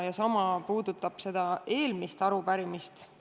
Ja sama võib öelda eelmise arupärimise kohta.